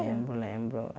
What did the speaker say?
Lembro, lembro.